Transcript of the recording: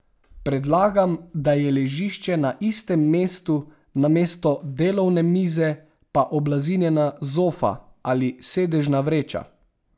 Predlagam, da je ležišče na istem mestu, namesto delovne mize pa oblazinjena zofa ali sedežna vreča.